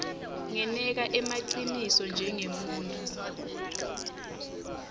ngeneka emaciniso njengemuntfu